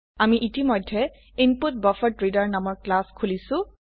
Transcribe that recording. আমি ইতিমধ্যে ইনপুটবাফাৰড্ৰেডাৰ নামৰ ক্লাস খুলিছো